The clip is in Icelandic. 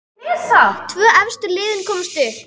Tvö efstu liðin komast upp.